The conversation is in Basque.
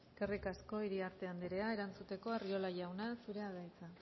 eskerrik asko iriarte andrea erantzuteko arriola jauna zurea da hitza